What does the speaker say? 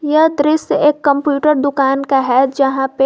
यह दृश्य एक कंप्यूटर दुकान का है यहां पे--